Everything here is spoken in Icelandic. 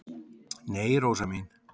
"""Nei, Rósa mín."""